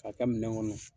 K'a kɛ minɛn kɔnɔ